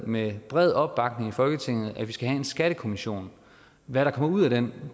med bred opbakning i folketinget vedtaget at vi skal have skattekommissionen hvad der kommer ud af den